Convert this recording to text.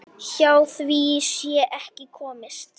Hjá því sé ekki komist.